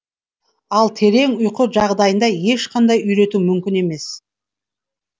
ал терең ұйқы жағдайында ешқандай үйрету мүмкін емес